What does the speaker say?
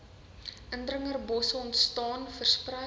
indringerbosse ontstaan versprei